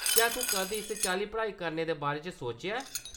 क्या तूं कदें इस चाल्ली पढ़ाई करने दे बारे च सोचेआ ऐ ?